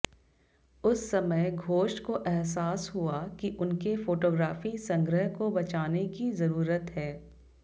उस समय घोष को अहसास हुआ कि उनके फोटोग्राफी संग्रह को बचाने की जरूरत है